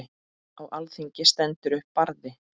Á alþingi stendur upp Barði